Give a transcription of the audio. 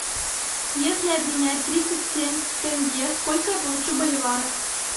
если обменять тридцать семь тенге сколько я получу боливаров